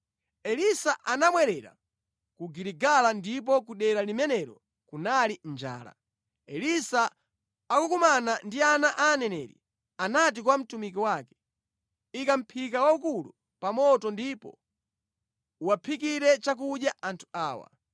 Elisa anabwerera ku Giligala ndipo ku dera limenelo kunali njala. Elisa akukumana ndi ana a aneneri, anati kwa mtumiki wake, “Ika mʼphika waukulu pa moto ndipo uwaphikire chakudya anthu awa.”